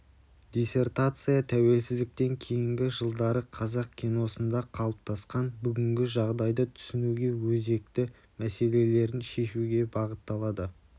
диссертация тәуелсіздіктен кейінгі жылдары қазақ киносында қалыптасқан бүгінгі жағдайды түсінуге өзкті мәслелерін шешуге бағытталды